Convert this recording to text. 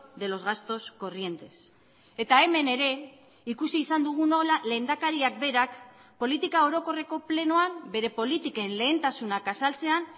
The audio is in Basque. de los gastos corrientes eta hemen ere ikusi izan dugu nola lehendakariak berak politika orokorreko plenoan bere politiken lehentasunak azaltzean